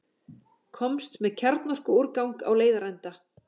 Komst með kjarnorkuúrgang á leiðarenda